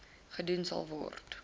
gedoen sal word